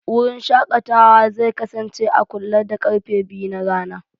Wurin shakatawa zai kasance a kule da karfe biyu na rana.